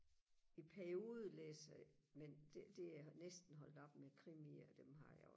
i perioder læser jeg men det det er jeg næsten holdt op med krimier dem har jeg jo